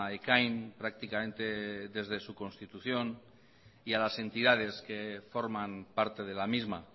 ekain prácticamente desde su constitución y a las entidades que forman parte de la misma